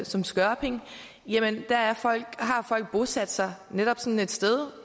som skørping har folk bosat sig netop sådan et sted